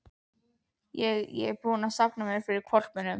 Ég. ég er búinn að safna mér fyrir hvolpinum.